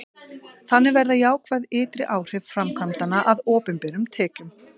þannig verða jákvæð ytri áhrif framkvæmdanna að opinberum tekjum